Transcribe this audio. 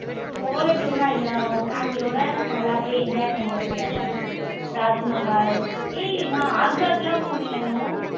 solo tour லாம் இல்ல அனு family யோட நல்லா போய் enjoy பண்ணிட்டு வந்தே அனு. தாஜ்மஹால் ஹேய் நான் ஆக்ராக்கெல்லாம் போனேன் அனு.